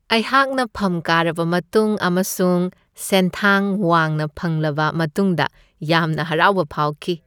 ꯑꯩꯍꯥꯛꯅ ꯐꯝ ꯀꯥꯔꯕ ꯃꯇꯨꯡ ꯑꯃꯁꯨꯡ ꯁꯦꯟꯊꯥꯡ ꯋꯥꯡꯅ ꯐꯪꯂꯕ ꯃꯇꯨꯡꯗ ꯌꯥꯝꯅ ꯍꯔꯥꯎꯕ ꯐꯥꯎꯈꯤ ꯫